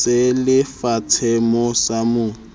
se le fatshemoo sa mo